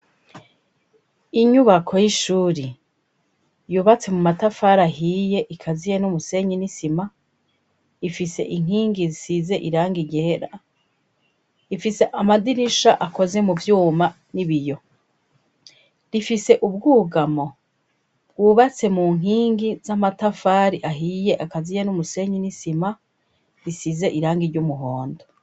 Inyubako y'ishuri yubatse mu matafari ahiye ikaziye n'umusenye n'isima ifise inkingi size iranga igihera ifise amadirisha akoze mu vyuma n'ibiyo rifise ubwugamo bwubatse mu nkingiza matafari ahiye akaziya n'umusenyi n'isima risize irangi ry'umuhondo.